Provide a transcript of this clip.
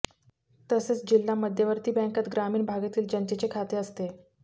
तसेच जिल्हा मध्यवर्ती बँकांत ग्रामीण भागातील जनतेचे खाते असते